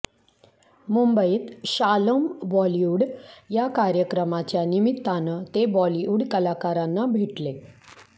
मुंबईत शालोम बॉलिवूड या कार्यक्रमाच्या निमित्तानं ते बॉलिवूड कलाकारांना भेटले